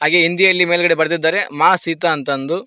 ಈ ಹಿಂದಿಯಲ್ಲಿ ಮೇಲ್ಗಡೆ ಬರೆದಿದ್ದಾರೆ ಮಾ ಸೀತಾ ಅಂತ್ ಅಂದು.